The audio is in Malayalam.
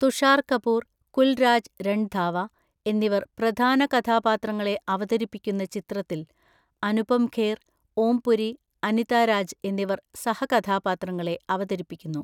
തുഷാർ കപൂർ, കുൽരാജ് രൺധാവ എന്നിവർ പ്രധാന കഥാപാത്രങ്ങളെ അവതരിപ്പിക്കുന്ന ചിത്രത്തിൽ അനുപം ഖേർ, ഓം പുരി, അനിത രാജ് എന്നിവർ സഹകഥാപാത്രങ്ങളെ അവതരിപ്പിക്കുന്നു.